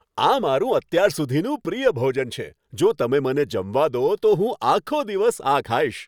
આ મારું અત્યાર સુધીનું પ્રિય ભોજન છે, જો તમે મને જમવા દો, તો હું આખો દિવસ આ ખાઈશ.